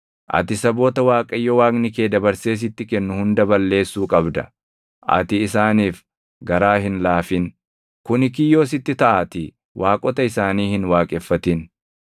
Ati saboota Waaqayyo Waaqni kee dabarsee sitti kennu hunda balleessuu qabda. Ati isaaniif garaa hin laafin; kuni kiyyoo sitti taʼaatii waaqota isaanii hin waaqeffatin.